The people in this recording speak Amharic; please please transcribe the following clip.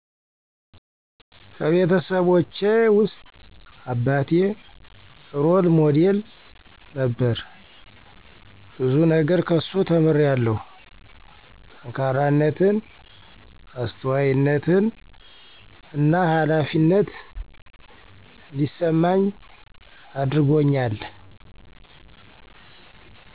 ከቤተሰቦቸውስጥ አባቴ ሮል ሞዴል ነበር ብዙ ነገር ከሱ ተምሪያለው ጠካራነትን አስተዋይነትን እና ሀላፊነት እዲስመኝ አድርጎኛል